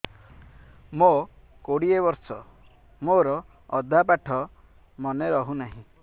ମୋ କୋଡ଼ିଏ ବର୍ଷ ମୋର ଅଧା ପାଠ ମନେ ରହୁନାହିଁ